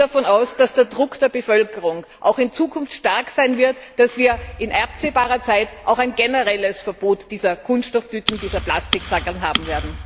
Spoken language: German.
Ich gehe davon aus, dass der Druck der Bevölkerung auch in Zukunft stark sein wird und dass wir in absehbarer Zeit auch ein generelles Verbot dieser Kunststofftüten, dieser Plastiksackerln, haben werden.